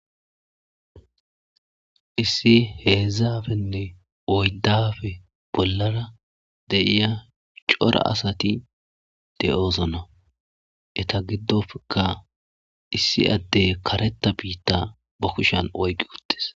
issi heedzdzafenne oyddafe bollara de'iya cora asati de'osona eta giddofeka issi addey kareta biitta ba kushan oygi uttes